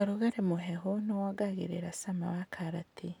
ũrugarĩ mũhehu nĩwongagĩrĩra cama wa karati.